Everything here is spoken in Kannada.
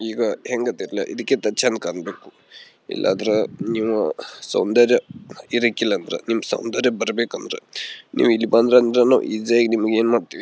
ಈಗ ಹೆಂಗ ಅದಿರಲ್ ಇದಕ್ಕೆ ಚಂದ್ ಕಾಣಬೇಕು ಇಲ್ಲಾಂದ್ರೆ ನೀವು ಸೌಂದರ್ಯ ಇರಾಕಿಲ್ಲ ಅಂದ್ರೆ ನಿಮಗೆ ಸೌಂದರ್ಯ ಬರಬೇಕೆಂದರೆ ನೀವು ಇಲ್ಲಿ ಬಂದ್ರಿ ಅಂದ್ರೇನು ಈಜಿ ಯಾಗಿ ಏನು ಮಾಡ್ತೀವಿ--